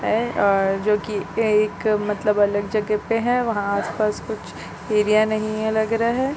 और और जो की यह एक मतलब अलग जगह पे हैं वहाँ आस पास कुछ एरिया नहीं है लग रहे है ।